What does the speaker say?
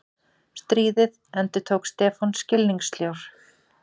Stríðið? endurtók Stefán skilningssljór.